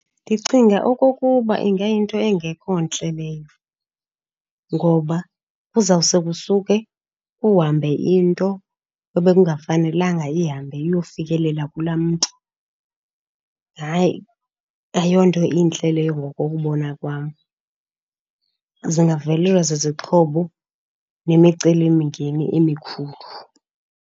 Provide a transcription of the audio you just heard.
Ndicinga okokuba ingayinto engekho ntle leyo, ngoba kuzawuse kusuke kuhambe into ebekungafanelanga ihambe iyofikelela kulaa mntu. Hayi, ayonto intle leyo ngokokubona kwam. Zingavelelwa zizixhobo nemicelimngeni emikhulu.